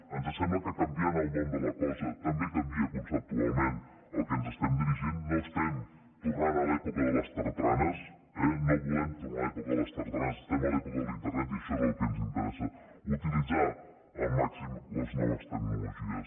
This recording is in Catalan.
ens sembla que canviant el nom de la cosa també canvia conceptualment el que ens estem dirigint no estem tornant a l’època de les tartanes eh no volem tornar a l’època de les tartanes estem a l’època d’internet i això és el que ens interessa utilitzar al màxim les noves tecnologies